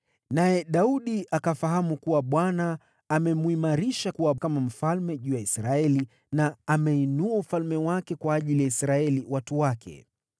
Naye Daudi akafahamu kuwa Bwana amemwimarisha kuwa mfalme juu ya Israeli na ameinua ufalme wake kwa ajili ya Israeli, watu wake.